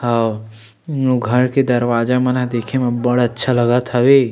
हव घर के दरवाजा मन ह देखे में अब्बड़ अच्छा लगत हवे।